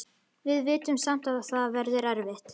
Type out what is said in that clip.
Við vitum samt að það verður erfitt.